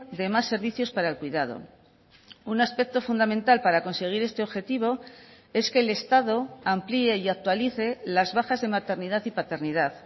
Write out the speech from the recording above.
de más servicios para el cuidado un aspecto fundamental para conseguir este objetivo es que el estado amplié y actualice las bajas de maternidad y paternidad